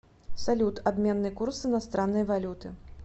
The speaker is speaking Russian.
салют обменный курс иностранной валюты